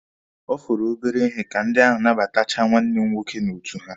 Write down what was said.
Ọ fọrọ obere ihe ka ndị ahụ nabatachaa nwanne m nwoke n'otu ha.